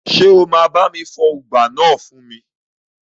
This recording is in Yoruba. Ṣé o máa bá mi fọ ùgbá náà fún mi?